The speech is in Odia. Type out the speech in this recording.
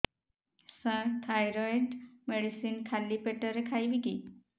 ସାର ଥାଇରଏଡ଼ ମେଡିସିନ ଖାଲି ପେଟରେ ଖାଇବି କି